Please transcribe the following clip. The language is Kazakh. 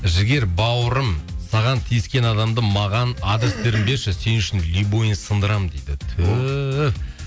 жігер бауырым саған тиіскен адамды маған адрестерін берші сен үшін любойын сындырамын дейді түһ